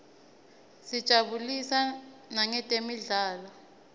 sitijabulisa nangetemidlalo